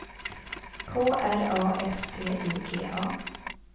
K R A F T I G A